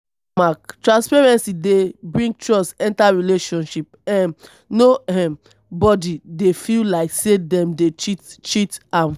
transparency dey bring trust enter relationship um no um body dey feel like sey dem dey cheat cheat am